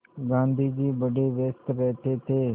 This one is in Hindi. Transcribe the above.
गाँधी जी बड़े व्यस्त रहते थे